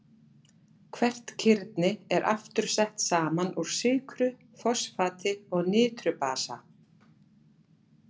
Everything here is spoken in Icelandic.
Hvert kirni er aftur sett saman úr sykru, fosfati og niturbasa.